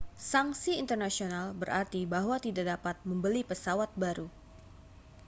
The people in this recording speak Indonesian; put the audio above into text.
sanksi internasional berarti bahwa tidak dapat membeli pesawat baru